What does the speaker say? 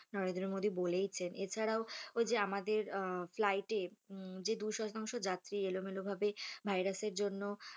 নরেন্দ্রমোদী বলেইছেন এছাড়াও ঐ যে আমাদের flight এ যে দু শতাংশ যাত্রী এলোমেলোভাবে virus এর জন্য,